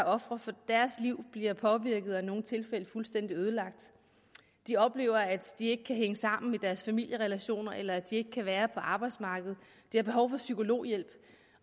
ofrenes liv bliver påvirket og i nogle tilfælde fuldstændig ødelagt de oplever at de ikke kan hænge sammen i deres familierelationer eller at de ikke kan være på arbejdsmarkedet de har behov for psykologhjælp